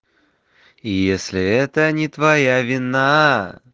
и если это не твоя вина